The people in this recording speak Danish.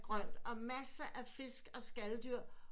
Grønt og masser af fisk og skalddyr